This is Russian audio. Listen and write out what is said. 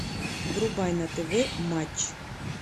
врубай на тв матч